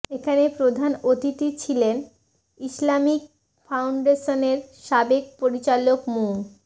এখানে প্রধান অতিথি ছিলেন ইসলামিক ফাউন্ডেশনের সাবেক পরিচালক মু